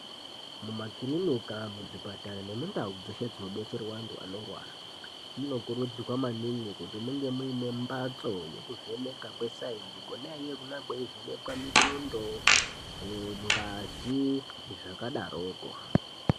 Muma kilinika, muzvipatara nemuntawo dzinodetserwa antu anorwara munokurudzirwa maningi kuti munge mungemunembatso yekuvheneka kwe sayinsi inovheneka mitundo, ngazi zvakadaroko.